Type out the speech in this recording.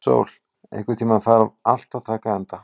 Sól, einhvern tímann þarf allt að taka enda.